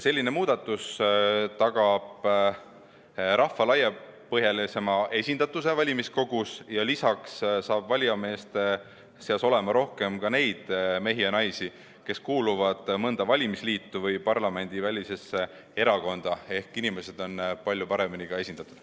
Selline muudatus tagab rahva laiapõhjalisema esindatuse valimiskogus ja lisaks saab valijameeste seas olema rohkem ka neid mehi ja naisi, kes kuuluvad mõnda valimisliitu või parlamendivälisesse erakonda, ehk inimesed on palju paremini esindatud.